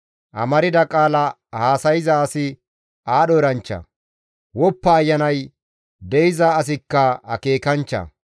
Amarda qaala haasayza asi aadho eranchcha; woppa ayanay de7iza asikka akeekanchcha.